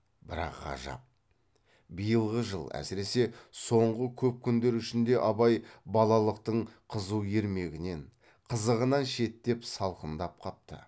бірақ ғажап биылғы жыл әсіресе соңғы көп күндер ішінде абай балалықтың қызу ермегінен қызығынан шеттеп салқындап қапты